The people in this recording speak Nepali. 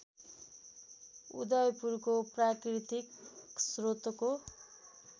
उदयपुरको प्राकृतिक श्रोतको